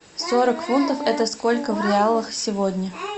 сорок фунтов это сколько в реалах сегодня